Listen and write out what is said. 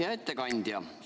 Hea ettekandja!